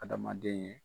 Adamaden ye